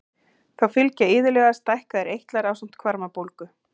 Þá fylgja iðulega stækkaðir eitlar ásamt hvarmabólgu.